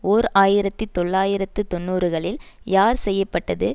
ஓர் ஆயிரத்தி தொள்ளாயிரத்து தொன்னூறுகளில் யார் செய்ய பட்டது